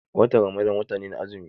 Watan Ramadan wata ne na azumi.